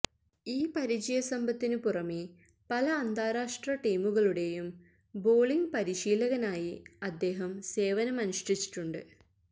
ഈ പരിചയസമ്പത്തിനു പുറമേ പല അന്താരാഷ്ട്ര ടീമുകളുടേയും ബോളിംഗ് പരിശീലകനായി അദ്ദേഹം സേവനം അനുഷ്ഠിച്ചിട്ടുണ്ട്